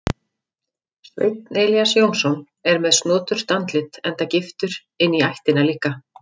Sveinn Elías Jónsson er með snoturt andlit enda giftur inní ættina líka.